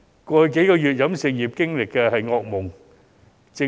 過去數月，飲食業經歷的是噩夢。